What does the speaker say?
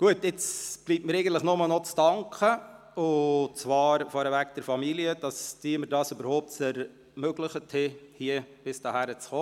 Nun bleibt mir nur noch zu danken, zuerst meiner Familie, dafür, dass sie es mir überhaupt ermöglicht hat, bis hierhin zu kommen.